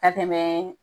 Ka tɛmɛ